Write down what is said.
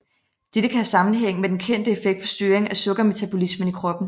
Dette kan have sammenhæng med den kendte effekt på styring af sukkermetabolismen i kroppen